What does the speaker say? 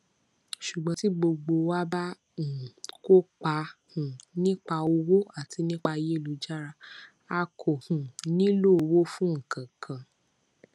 ṣùgbón tí gbogbo wá bá um kópa um nípa owó àti nípa ayélujára a kò um nílò owó fún ǹkan kan